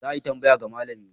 Za a yi tambaya ga malami.